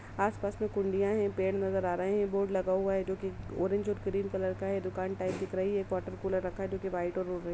आस-पास मे कुंडिया है पेड़ नजर आ रहे है बोर्ड लगा हुआ है जो कि ऑरेंज और क्रीम कलर का है दुकान टाइप दिख रही है। एक वाटर कूलर रखा है जो कि व्हाइट और --